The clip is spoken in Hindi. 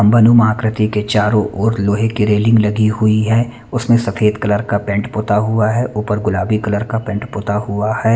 आकृति के चारो और लोहे के रेलिंग लगी हुई है उसमें सफ़ेद कलर का पेंट पुता हुआ है ऊपर गुलाबी कलर का पेंट पुता हुआ है।